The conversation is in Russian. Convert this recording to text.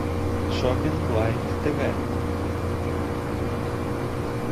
шоппинг лайф тв